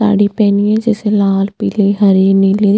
साड़ी पहनी है जैसे लाल पिले हरे नीले --